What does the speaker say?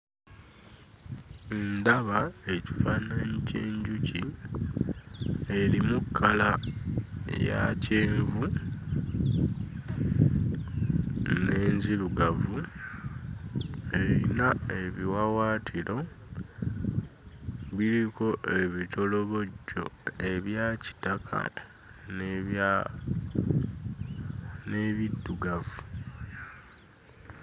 Ndaba ekifaananyi ky'enjuki erimu kkala eya kyenvu n'enzirugavu, erina ebiwawaatiro biriko ebitolobojjo ebya kitaka n'ebya n'ebiddugavu.